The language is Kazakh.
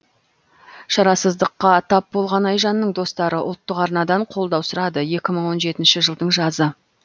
шарасыздыққа тап болған айжанның достары ұлттық арнадан қолдау сұрады екі мың он жетінші жылдың жазы